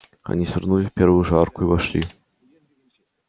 они свернули в первую же арку и вошли